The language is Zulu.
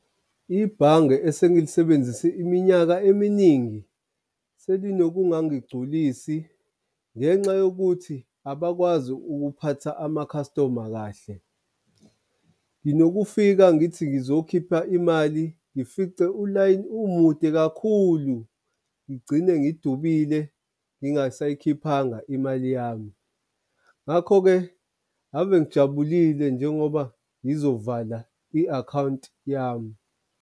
Ibhange esengilisebenzise iminyaka eminingi selinokungangigculisi ngenxa yokuthi abakwazi ukuphatha ama-customer kahle. Nginokufika ngithi ngizokhipha imali ngifice ulayini umude kakhulu, ngigcine ngidubile ngingasayikhiphanga imali yami. Ngakho-ke ave ngijabulile njengoba ngizovala i-akhawunti yami.